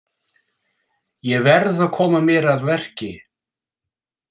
Ég verð að koma mér að verki.